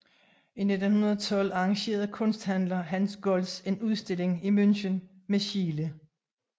I 1912 arrangerede kunsthandler Hans Golz en udstilling i München med Schiele